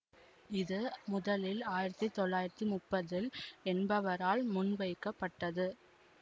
இது முதலில் ஆயிரத்தி தொள்ளாயிரத்தி முப்தில் என்பவரால் முன்வைக்கப்பட்டது